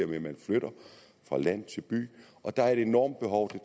med at man flytter fra land til by der er et enormt behov for